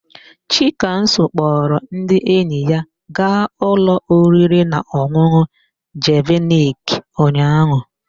Chikamso kpọrọ ndị enyi ya gaa ụlọ oririnaọn̄ụn̄ụ Jeviniki ụnyaahụ.